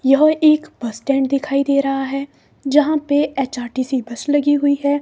यह एक bus stand दिखाई दे रहा है जहां पे एच_आर_टी_सी बस लगी हुई है।